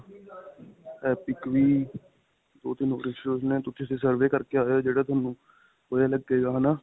epic ਵੀ, ਦੋ-ਤਿੰਨ ਹੋਰ institute ਨੇ ਤੁਸੀਂ ਉੱਥੇ survey ਕਰਕੇ ਆਇਓ, ਜਿਹੜਾ ਤੁਹਾਨੂੰ ਵਧੀਆ ਲੱਗੇਗਾ ਹੈ ਨਾ.